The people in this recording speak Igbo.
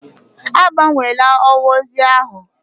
Agbanwela ọwa ozi ahụ!